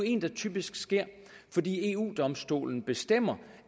en der typisk sker fordi eu domstolen bestemmer